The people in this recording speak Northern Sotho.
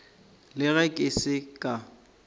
le ge ke se ka